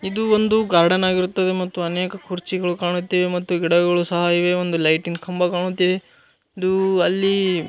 ಇದು ಒಂದು ಗಾರ್ಡನ್ ಆಗಿರುತ್ತವೆ ಮತ್ತು ಅನೇಕ ಕುರ್ಚಿಗಳು ಕಾಣುತ್ತಿವೆ ಮತ್ತು ಗಿಡಗಳು ಸಹ ಇವೆ ಒಂದು ಲೈಟಿಂಗ್ ಕಂಬ ಕಾಣುತ್ತಿವೆ ಇದು ಅಲ್ಲಿ--